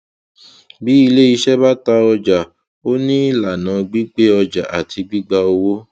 bí ilé iṣẹ bá ta ọjà ó ní ìlànà gbígbé ọjà àti gbígba owó